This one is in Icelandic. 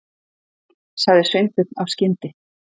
sagði Sveinbjörn af skyndi